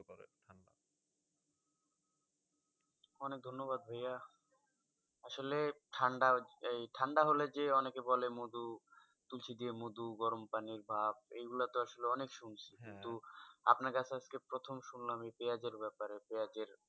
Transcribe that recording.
অনেক ধন্যবাদ ভাইয়া আসলে ঠাণ্ডা এই ঠাণ্ডা হলে যে, অনেকে বলে মধু তুলসী দিয়ে মধু গরম পানির ভাপ এইগুলা তো আসলে অনেক শুনছি। কিন্তু আপনার কাছে আজকে প্রথম শুনলাম এই পেঁয়াজের ব্যাপারে। পেঁয়াজের